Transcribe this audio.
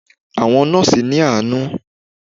Àwọn Nọ́ọ̀sì ni àánú.